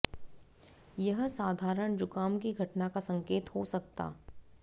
यह साधारण जुकाम की घटना का संकेत हो सकता